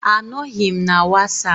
Anọghị m na wasapụ